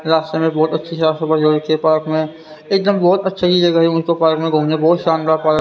रास्ते में बहुत अच्छी साफ सफाई हो रखी है पार्क में एकदम बहुत अच्छी जगह है मुझको पार्क में घुमना बहुत शानदार पार्क --